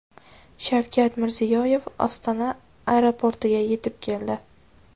Shavkat Mirziyoyev Ostona aeroportiga yetib keldi.